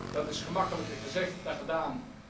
Dat is gemakkelijker gezegd dan gedaan.